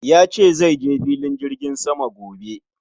Yace zaije filin jirgin sama gobe